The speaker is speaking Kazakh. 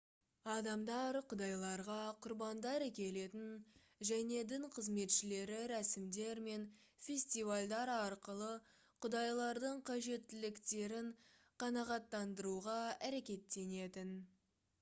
адамдар құдайларға құрбандар әкелетін және дін қызметшілері рәсімдер мен фестивальдар арқылы құдайлардың қажеттіліктерін қанағаттандыруға әрекеттенетін